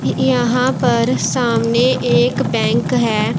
यहां पर सामने एक बैंक है।